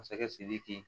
Masakɛ sidiki